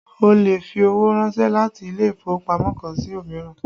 Ó lè fi owó ránsẹ́ láti ilé ìfowópamọ́ kan sí òmíràn